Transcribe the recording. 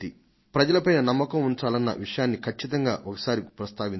ప్రజల పైన నమ్మకం ఉంచాలన్న విషయాన్ని కచ్చితంగా ఒకసారి ప్రస్తావించండి